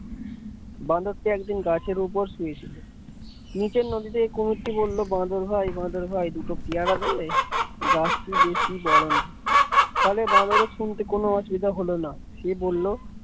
বাঁদরটি একদিন গাছের উপর শুয়ে ছিল নিচের নদী থেকে কুমিরটি বললো বাঁদর ভাই বাদর ভাই দুটো পেয়ারা দেবে গাছটি বেশি বড় নয় ফলে বাঁদরের শুনতে কোন অসুবিধা হলো না সে বলল।